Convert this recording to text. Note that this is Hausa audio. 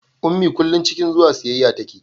ummi kullum cikin zuwa siyayya tace